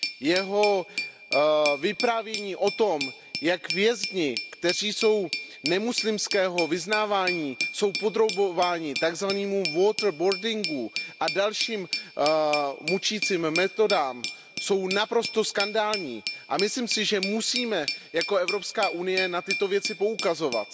Jeho vyprávění o tom, jak vězni, kteří jsou nemuslimského vyznávání, jsou podrobování tak zvanému waterboardingu a dalším mučícím metodám, je naprosto skandální a myslím si, že musíme jako Evropská unie na tyto věci poukazovat.